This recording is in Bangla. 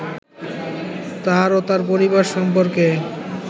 তার ও তার পরিবার সম্পর্কে